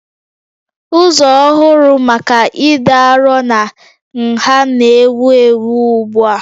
Ụzọ ọhụrụ maka ịdị arọ na nha na-ewu ewu ugbu a